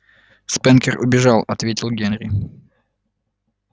спэнкер убежал ответил генри